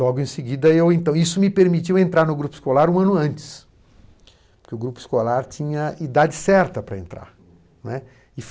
Logo em seguida, eu então isso me permitiu entrar no grupo escolar um ano antes, porque o grupo escolar tinha a idade certa para entrar, né.